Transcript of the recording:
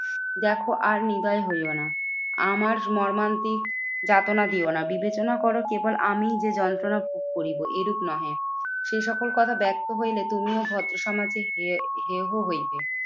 দেখো আর নির্দয় হইও না। আমার মর্মান্তিক যাতনা দিও না। বিবেচনা করো কেবল আমি যে যন্ত্রনা ভোগ করিব এরূপ নহে। সেই সকল কথা ব্যক্ত হইলে তুমিও ভদ্র সমাজে হেও হেহ হইবে।